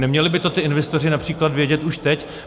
Neměli by to ti investoři například vědět už teď?